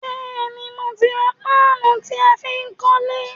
Béèni, mo ti ra paanu tí á fi kólé